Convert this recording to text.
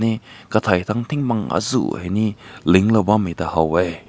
ee katai dang ting bang aazu hai ne ling ta haw weh.